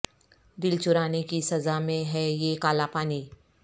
دل چرانے کی سزا میں ہے یہ کالا پانی